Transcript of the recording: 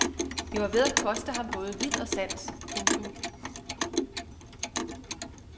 Det var ved at koste ham både vid og sans. punktum